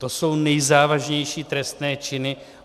To jsou nejzávažnější trestné činy.